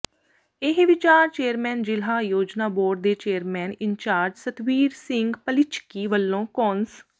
ਇਹ ਵਿਚਾਰ ਚੇਅਰਮੈਨ ਜ਼ਿਲ੍ਹਾ ਯੋਜਨਾ ਬੋਰਡ ਦੇ ਚੇਅਰਮੈਨ ਇੰਚਾਰਜ ਸਤਵੀਰ ਸਿੰਘ ਪੱਲੀਿਝੱਕੀ ਵੱਲੋਂ ਕੌਂਸ